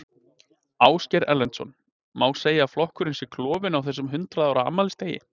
Ásgeir Erlendsson: Má segja að flokkurinn sé klofinn á þessum hundrað ára afmælisdegi?